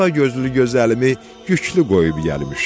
Alagözlü gözəlimi yüklü qoyub gəlmişəm.